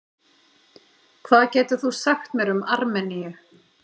Hvað getur þú sagt mér um Armeníu?